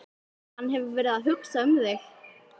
Hann hefur verið að hugsa um þig.